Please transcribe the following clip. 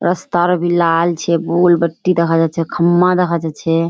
रस्तार भी लाल छे गोलबट्टी देखा जाछे खम्मा देखा जाछे।